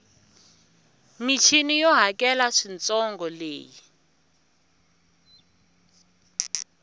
michini yo hakela swintsongo leyi